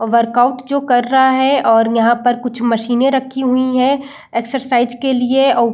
workout जो कर रहा है और यहाँ पे कुछ मशीने रखी हुई हैं एक्सरसाइज के लिए और --